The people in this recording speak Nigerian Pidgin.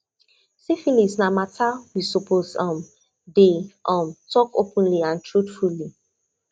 syphilis na matter we suppose um dey um talk openly and truthfully